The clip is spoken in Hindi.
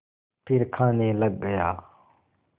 फिर खाने लग गया